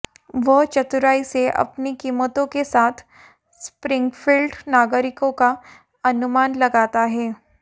वह चतुराई से अपनी कीमतों के साथ स्प्रिंगफील्ड नागरिकों का अनुमान लगाता है